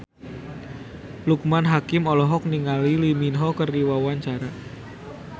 Loekman Hakim olohok ningali Lee Min Ho keur diwawancara